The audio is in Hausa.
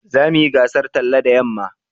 za mu yi gasan tsalle da yamma